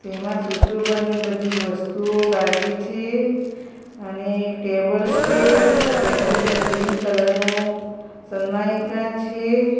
તેમા સુશોભનની બધી વસ્તુઓ લાગી છે અને ટેબલ છે ટેબલ ઉપર ગ્રીન કલર નુ સન્માઇકા છે